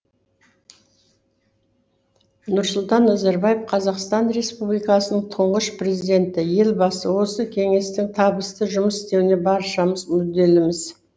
нұрсұлтан назарбаев қазақстан республикасының тұңғыш президенті елбасы осы кеңестің табысты жұмыс істеуіне баршамыз мүдделіміз